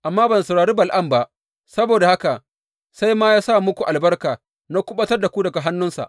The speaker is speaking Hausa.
Amma ban saurari Bala’am ba, saboda haka sai ya ma sa muku albarka, na kuɓutar da ku daga hannunsa.